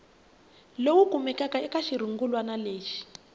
lowu kumekaka eka xirungulwana lexi